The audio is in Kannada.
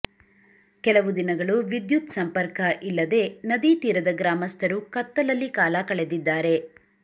ಕೆಲವು ದಿನಗಳು ವಿದ್ಯುತ್ ಸಂಪರ್ಕ ಇಲ್ಲದೆ ನದಿ ತೀರದ ಗ್ರಾಮಸ್ಥರು ಕತ್ತಲಲ್ಲಿ ಕಾಲ ಕಳೆದಿದ್ದಾರೆ